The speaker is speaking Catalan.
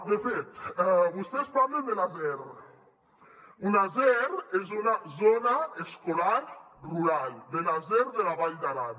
de fet vostès parlen de la zer una zer és una zona escolar rural de la zer de la vall d’aran